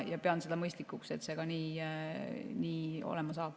Ma pean mõistlikuks, et see nii ka olema saab.